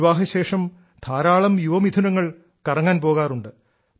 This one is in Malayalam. വിവാഹശേഷം ധാരാളം യുവമിഥുനങ്ങൾ കറങ്ങാൻ പോകാറുണ്ട്